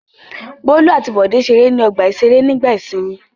Bólú àti Bọ́lá ṣeré ní ọgbà-ìṣeré nígbà ìsìnmi?